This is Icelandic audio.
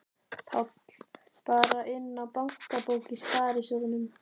Páll: Bara inná bankabók í sparisjóðnum?